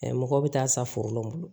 mɔgɔ bɛ taa sa foro lɔ bolo